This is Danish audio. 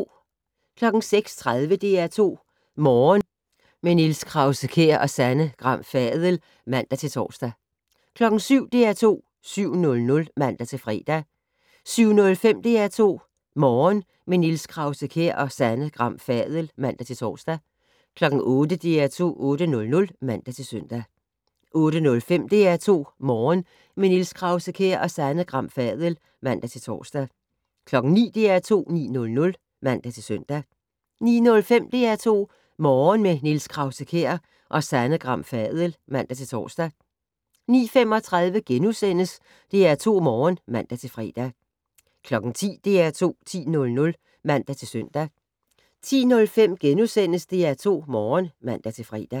06:30: DR2 Morgen - med Niels Krause-Kjær og Sanne Gram Fadel (man-tor) 07:00: DR2 7:00 (man-fre) 07:05: DR2 Morgen - med Niels Krause-Kjær og Sanne Gram Fadel (man-tor) 08:00: DR2 8:00 (man-søn) 08:05: DR2 Morgen - med Niels Krause-Kjær og Sanne Gram Fadel (man-tor) 09:00: DR2 9:00 (man-søn) 09:05: DR2 Morgen - med Niels Krause-Kjær og Sanne Gram Fadel (man-tor) 09:35: DR2 Morgen *(man-fre) 10:00: DR2 10:00 (man-søn) 10:05: DR2 Morgen *(man-fre)